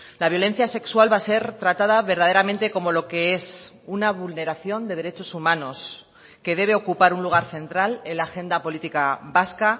la violencia sexual va a ser tratada verdaderamente como lo que es una vulneración de derechos humanos que debe ocupar un lugar central en la agenda política vasca